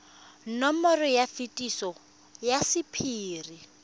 nomoro ya phetiso ya sephiri